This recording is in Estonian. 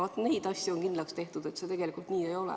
Vaat, neid asju on kindlaks tehtud, et see tegelikult nii ei ole.